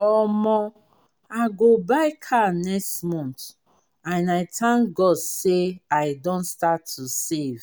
omo! i go buy car next month and i thank god say i don start to dey save